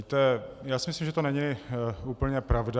Víte, já si myslím, že to není úplně pravda.